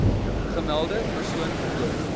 gemelde persoon voort